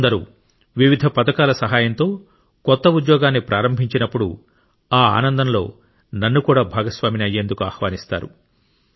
కొందరు వివిధ పథకాల సహాయంతో కొత్త ఉద్యోగాన్ని ప్రారంభించినప్పుడు ఆ ఆనందంలో నన్ను కూడా భాగస్వామి అయ్యేందుకు ఆహ్వానిస్తాడు